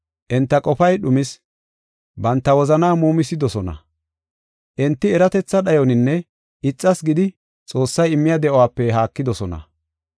Enta qofay dhumis; banta wozanaa muumisidosona. Enti eratetha dhayoninne ixas gidi Xoossay immiya de7uwape haakidosona.